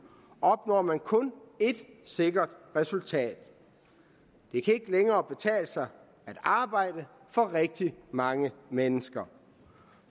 opnår man kun ét sikkert resultat det kan ikke længere betale sig at arbejde for rigtig mange mennesker